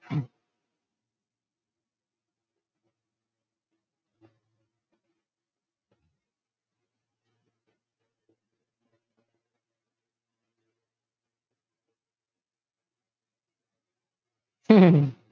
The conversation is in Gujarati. હમ્મ